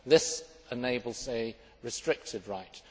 This enables a restricted right.